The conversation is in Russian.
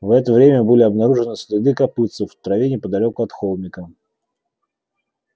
в это время были обнаружены следы копытцев в траве неподалёку от холмика